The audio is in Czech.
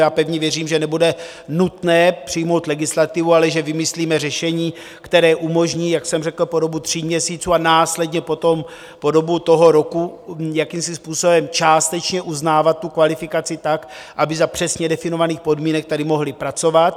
Já pevně věřím, že nebude nutné přijmout legislativu, ale že vymyslíme řešení, které umožní, jak jsem řekl, po dobu tří měsíců a následně potom po dobu toho roku jakýmsi způsobem částečně uznávat tu kvalifikaci tak, aby za přesně definovaných podmínek tady mohli pracovat.